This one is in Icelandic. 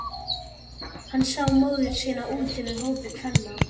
Hann sá móður sína úti við í hópi kvenna.